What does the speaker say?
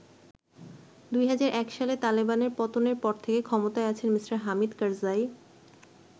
২০০১ সালে তালেবানের পতনের পর থেকে ক্ষমতায় আছেন মি: হামিদ কারজাই।